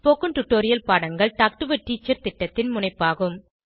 spoken tutorial பாடங்கள் talk to a teacher திட்டத்தின் முனைப்பாகும்